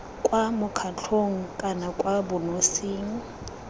kwa mokgatlhong kana kwa bonosing